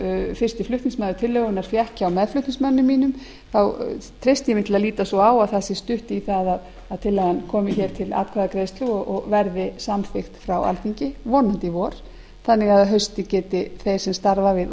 fyrsti flutningsmaður tillögunnar fékk hjá meðflutningsmanni mínum þá treysti ég mér að líta svo á að það sé stutt í það að tillagan komi til atkvæðagreiðslu og verði samþykkt á alþingi vonandi í vor þannig að þeir sem starfa við